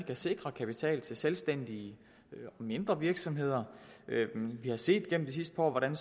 kan sikre kapital til selvstændige mindre virksomheder vi har set gennem de sidste par år hvordan